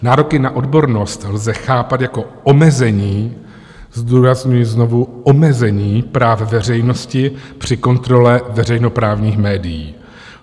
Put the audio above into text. Nároky na odbornost lze chápat jako omezení - zdůrazňuji znovu omezení - práv veřejnosti při kontrole veřejnoprávních médií.